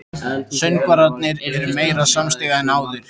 Söngvararnir eru meira samstiga en áður.